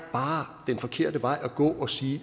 den forkerte vej at gå at sige